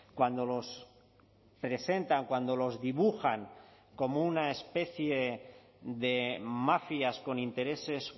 cuando los presentan cuando los dibujan como una especie de mafias con intereses